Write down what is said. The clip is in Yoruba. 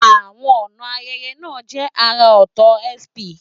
Àwọn ọ̀nà ayẹyẹ náà jẹ́ àrà ọ̀tọ̀ sp.